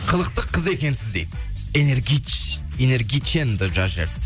қылықты қыз екенсіз дейді энергичен деп жазып жіберіпті